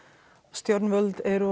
stjórnvöld eru